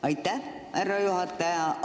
Aitäh, härra juhataja!